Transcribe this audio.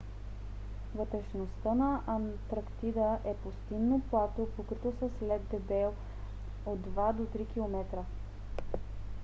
вътрешността на антарктида е пустинно плато покрито с лед дебел 2 – 3 км